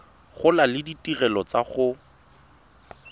gola le ditirelo tsa go